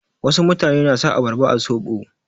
Wasu mutane na sa abarba a soɓo.